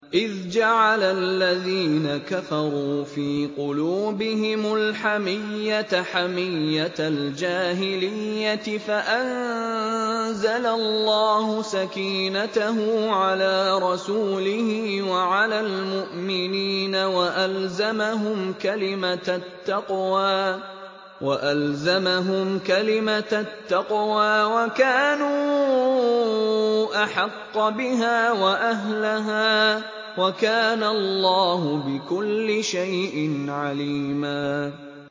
إِذْ جَعَلَ الَّذِينَ كَفَرُوا فِي قُلُوبِهِمُ الْحَمِيَّةَ حَمِيَّةَ الْجَاهِلِيَّةِ فَأَنزَلَ اللَّهُ سَكِينَتَهُ عَلَىٰ رَسُولِهِ وَعَلَى الْمُؤْمِنِينَ وَأَلْزَمَهُمْ كَلِمَةَ التَّقْوَىٰ وَكَانُوا أَحَقَّ بِهَا وَأَهْلَهَا ۚ وَكَانَ اللَّهُ بِكُلِّ شَيْءٍ عَلِيمًا